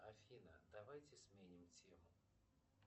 афина давайте сменим тему